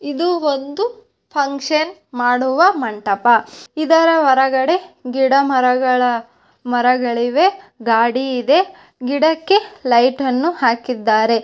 ಇದು ಒಂದು ಫಂಕ್ಷನ್ ಮಾಡುವ ಮಂಟಪ ಇದರ ಹೊರಗಡೆ ಗಿಡ ಮರಗಳ ಮರಗಳಿವೆ ಗಾಡಿ ಇದೆ ಗಿಡಕ್ಕೆ ಲೈಟ್ ಅನ್ನು ಹಾಕ್ಕಿದ್ದಾರೆ